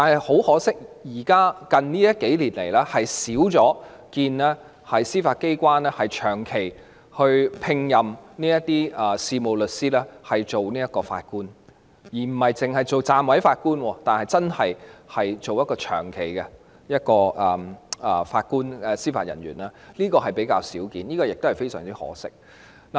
很可惜，近年較少看到司法機關長期聘任事務律師擔任法官，不只是暫委法官，而是長期擔任法官或司法人員，這個情況比較少見，實在非常可惜。